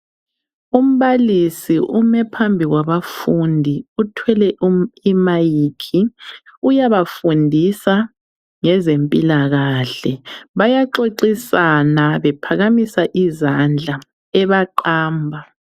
Umbalisi ume phambi kwabafundi uthwele imayikhi, uyabafundisa ngezempilakahle. Bayaxoxisana bephamisa izandla ebaqamba.